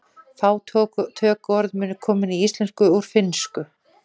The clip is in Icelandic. Fá tökuorð munu komin í íslensku úr finnsku.